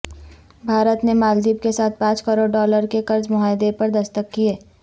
بھارت نے مالدیپ کے ساتھ پانچ کروڑ ڈالر کے قرض معاہدے پر دستخط کئے